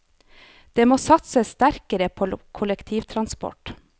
Det må satses sterkere på kollektivtransport.